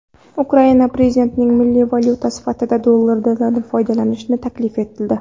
Ukraina prezidentiga milliy valyuta sifatida dollardan foydalanish taklif etildi.